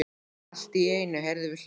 Allt í einu heyrðum við hljóð.